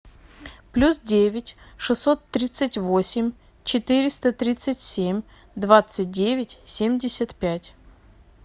плюс девять шестьсот тридцать восемь четыреста тридцать семь двадцать девять семьдесят пять